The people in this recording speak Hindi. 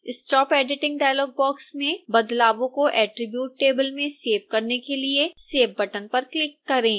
stop editing डायलॉग बॉक्स में बदलावों को attribute table में सेव करने के लिए save बटन पर क्लिक करें